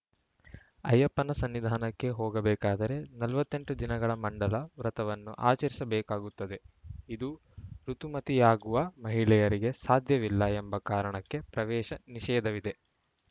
ಅಯ್ಯಪ್ಪನ ಸನ್ನಿಧಾನಕ್ಕೆ ಹೋಗಬೇಕಾದರೆ ನಲವತ್ತ್ ಎಂಟು ದಿನಗಳ ಮಂಡಲ ವ್ರತವನ್ನು ಆಚರಿಸಬೇಕಾಗುತ್ತದೆ ಇದು ಋುತುಮತಿಯಾಗುವ ಮಹಿಳೆಯರಿಗೆ ಸಾಧ್ಯವಿಲ್ಲ ಎಂಬ ಕಾರಣಕ್ಕೆ ಪ್ರವೇಶ ನಿಷೇಧವಿದೆ